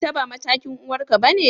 Ita ba matakin uwarka bane?